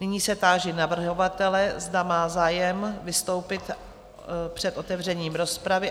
Nyní se táži navrhovatele, zda má zájem vystoupit před otevřením rozpravy?